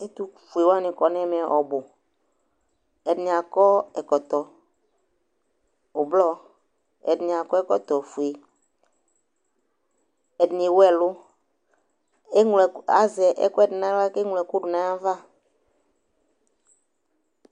Ɛtʋfue wanɩ kɔ nʋ ɛmɛ ɔbʋ Ɛdɩnɩ akɔ ɛkɔtɔ ʋblɔ, ɛdɩnɩ akɔ ɛkɔtɔfue, ɛdɩnɩ ewu ɛlʋ Eŋlo ɛkʋ, azɛ ɛkʋɛdɩ nʋ aɣla kʋ eŋlo ɛkʋ dʋ nʋ ayava